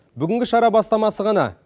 бүгінгі шара бастамасы ғана